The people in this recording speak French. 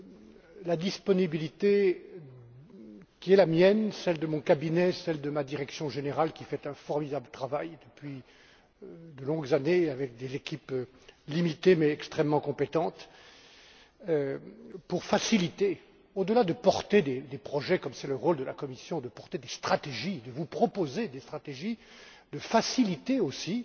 D'abord, la disponibilité qui est la mienne, de même que celle de mon cabinet, celle de ma direction générale, qui fait un formidable travail depuis de longues années avec des équipes limitées mais extrêmement compétentes, pour faciliter au delà de porter des projets comme c'est le rôle de la Commission de porter des stratégies, de vous proposer des stratégies, de faciliter aussi